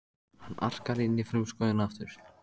Hann arkar inn í frumskóginn aftur.